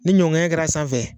Ni ɲɔn ŋɛɲɛn kɛra a sanfɛ